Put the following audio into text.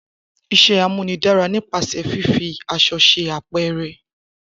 Isé amúnidara ni pase fifi àsõ se apere